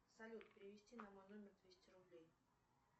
салют перевести на мой номер двести рублей